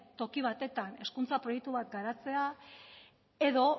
toki batetan hezkuntza proiektu bat garatzea edo